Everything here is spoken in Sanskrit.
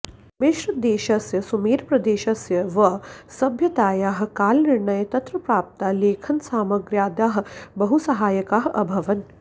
मिश्रदेशस्य सुमेरप्रदेशस्य वा सभ्यतायाः कालनिर्णये तत्र प्राप्ताः लेखनसामग्र्याद्याः बहुसहायकाः अभवन्